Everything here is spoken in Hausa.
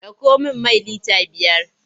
Ɗauko min mai lita biyar!